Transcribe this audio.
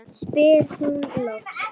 spyr hún loks.